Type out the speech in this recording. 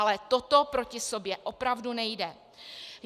Ale toto proti sobě opravdu nejde.